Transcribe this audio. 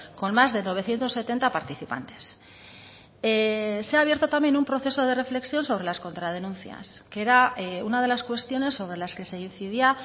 con más de novecientos setenta participantes se ha abierto también un proceso de reflexión sobre las contradenuncias que era una de las cuestiones sobre las que se incidía